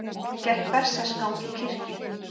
Gekk berserksgang í kirkju